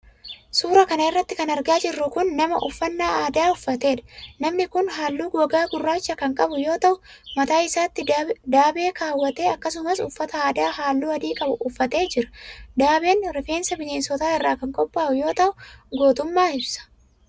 Suura kana irratti kan argaa jirru kun, nama uffannaa aadaa uffateedha. Namni kun haalluu gogaa gurraacha kan qabu yoo ta'u, mataa isaatti daabee kaawwatee akkasumas uffata aadaa haalluu adii qabu uffatee jira. Daabeen ,rifeensa bineensotaa irraa kan qophaa'u yoo ta'u ,gootummaa ibsa.